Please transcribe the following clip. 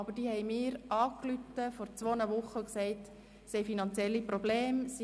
Die Zirkusschule hat mich vor zwei Wochen angerufen und erzählt, dass sie finanzielle Probleme habe.